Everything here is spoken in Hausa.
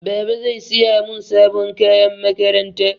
Baba zai siya mun sabon kayan makaranta.